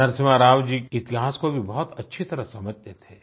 नरसिम्हा राव जी इतिहास को भी बहुत अच्छी तरह समझते थे